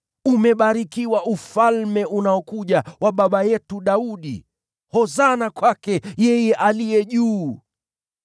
“Umebarikiwa Ufalme unaokuja wa baba yetu Daudi!” “Hosana kwake yeye aliye juu!”